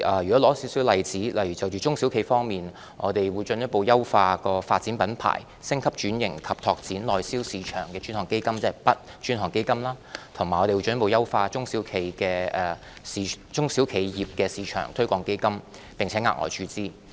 舉例說，就中小企方面，我們會進一步優化"發展品牌、升級轉型及拓展內銷市場的專項基金"，即 "BUD 專項基金"，以及進一步優化中小企業市場推廣基金，並額外注資。